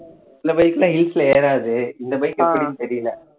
சில bike எல்லாம் hills ல ஏறாது இந்த bike எப்படின்னு தெரியல